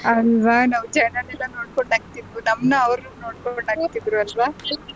ಅಲ್ವಾ ನಾವ್ ಜನನೆಲ್ಲ ನೋಡ್ಕೊಂಡು ನಗ್ತಿದ್ವು ಅವ್ರು ನಮ್ಮ್ ನ ನೋಡಿ ನಗ್ತಿದ್ರು ಅಲ್ವಾ.